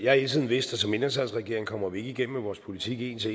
har hele tiden vidst at som mindretalsregering kommer vi ikke igennem med vores politik en til